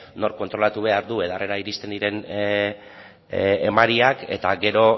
nork kontrolatu behar du edarrera iristen diren emariak eta gero